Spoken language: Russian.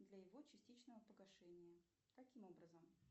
для его частичного погашения каким образом